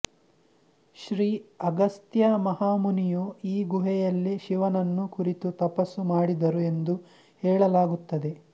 ಶ್ರೀ ಅಗಸ್ತ್ಯ ಮಹಾಮುನಿಯು ಈ ಗುಹೆಯಲ್ಲಿ ಶಿವನನ್ನು ಕುರಿತು ತಪಸ್ಸು ಮಾಡಿದರು ಎಂದು ಹೇಳಲಾಗುತ್ತದೆ